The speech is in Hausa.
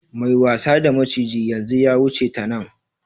Mai wasa da maciji yanzu ya wuce ta nan.